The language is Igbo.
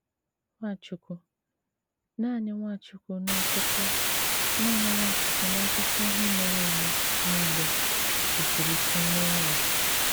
Nwáchúkwú - nánị Nwáchúkwú n’ákụkọ nánị Nwáchúkwú n’ákụkọ íhè mèré èmé nìlé - jísìrí íké méé ya."